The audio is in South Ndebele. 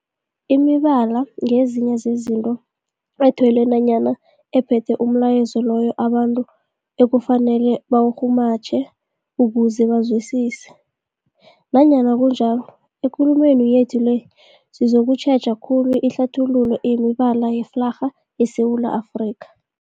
Imibala ngezinye zezinto ethelwe nanyana ephethe umlayezo loyo abantu ekufanele bawurhumutjhe ukuze bawuzwisise. Nanyana kunjalo, ekulumeni yethu le sizokutjheja khulu ihlathululo yemibala yeflarha yeSewula Afrika.